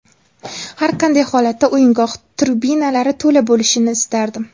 Har qanday holatda o‘yingoh tribunalari to‘la bo‘lishini istardim.